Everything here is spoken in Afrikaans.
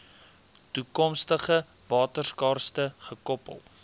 toekomstige waterskaarste gekoppel